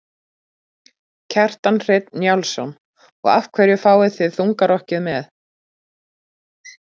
Kjartan Hreinn Njálsson: Og af hverju fáið þið þungarokkið með?